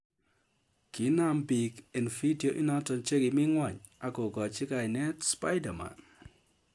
Kinam piik eng vitio inotok chekimii ngony agogachii kainet spiderman